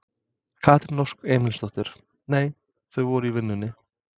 Katrín Ósk Emilsdóttir: Nei þau voru í vinnunni?